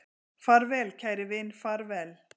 Far vel kæri vin, far vel